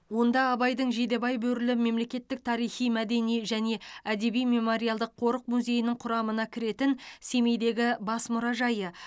онда абайдың жидебай бөрілі мемлекеттік тарихи мәдени және әдеби мемориалдық қорық музейінің құрамына кіретін семейдегі бас мұражайы